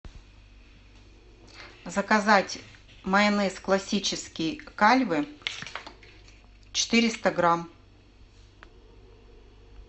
заказать майонез классический кальве четыреста грамм